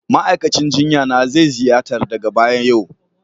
Ma'aikacin jinya na zai ziyarta daga baya yau